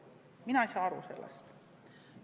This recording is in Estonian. Mina ei saa aru sellest.